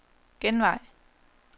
genvej